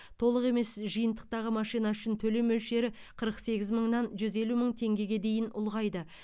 толық емес жиынтықтағы машина үшін төлем мөлшері қырық сегіз мыңнан жүз елу мың теңгеге дейін ұлғайды